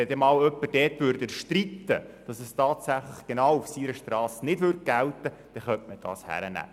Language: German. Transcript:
Würde jemand erstreiten, dass diese Regelung genau auf seiner Strasse nicht gilt, dann wäre das hinzunehmen.